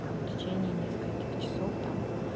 там в течение нескольких часов там